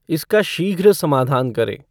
इसका शीघ्र समाधान करें